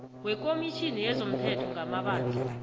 wekomitjhini yezomthetho ngamabandla